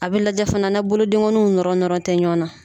A bɛ lajɛ fana na bolodengɔnninw nɔrɔ nɔrɔ tɛ ɲɔgɔn na.